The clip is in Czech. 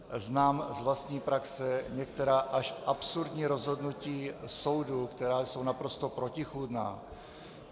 Znám z vlastní praxe některá až absurdní rozhodnutí soudů, která jsou naprosto protichůdná.